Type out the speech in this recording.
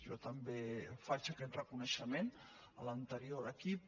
jo també faig aquest reconeixement a l’anterior equip